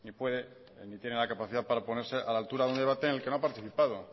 puede ni tiene la capacidad para ponerse a la altura de un debate en el que no ha participado